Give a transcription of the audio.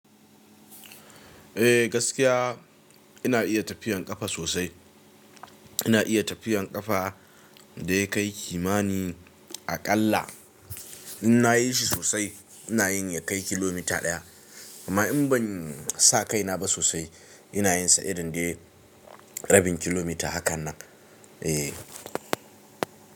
Eh gaskiya ina iya tafiyan ƙafa sosai, ina iya tafiyan ƙafa, da yakai kimanin a ƙalla, in na yishi sosai, ina yin yakai kilomita ɗaya, amma in ban sa kaina ba sosai ina yin sa irin dai rabin kilomita hakan nan. Eh.